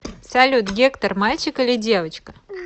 салют гектор мальчик или девочка